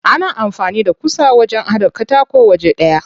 Ana amfani da ƙusa wajen haɗa katako waje ɗaya.